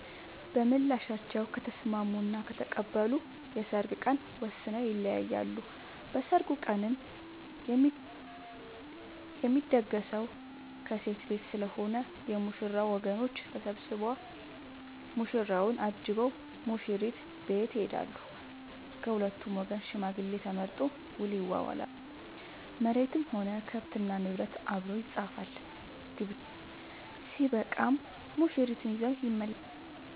በምላሻቸው ከተስምስሙ እና ከተቀበሉ የሰርግ ቀን ወስነው ይለያያሉ። በሰርጉ ቀንም የሚደገሰው ከሴት ቤት ስለሆነ የ ሙሽራው ወገኖች ተሰብስቧ ሙሽራውን አጅበው ሙሽሪት ቤት ይሄዳሉ። ከሁለቱም ወገን ሽማግሌ ተመርጦ ውል ይዋዋላሉ መሬትም ሆነ ከብት እና ንብረት አብሮ ይፃፋል። ግብዣው ስበቃም ሙሽርትን ይዘው ይመለሳሉ።